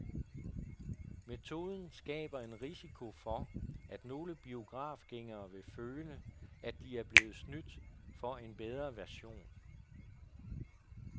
Metoden skaber en risiko for, at nogle biografgængere vil føle, at de er blevet snydt for en bedre version.